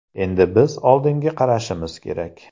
Endi biz oldinga qarashimiz kerak.